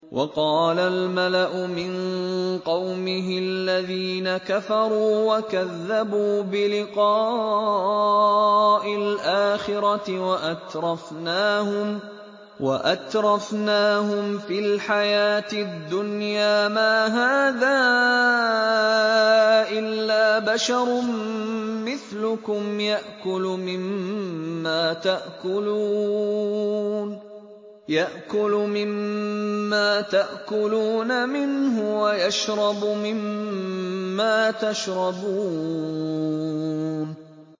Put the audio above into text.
وَقَالَ الْمَلَأُ مِن قَوْمِهِ الَّذِينَ كَفَرُوا وَكَذَّبُوا بِلِقَاءِ الْآخِرَةِ وَأَتْرَفْنَاهُمْ فِي الْحَيَاةِ الدُّنْيَا مَا هَٰذَا إِلَّا بَشَرٌ مِّثْلُكُمْ يَأْكُلُ مِمَّا تَأْكُلُونَ مِنْهُ وَيَشْرَبُ مِمَّا تَشْرَبُونَ